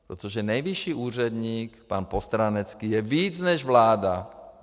Protože nejvyšší úředník pan Postránecký je víc než vláda.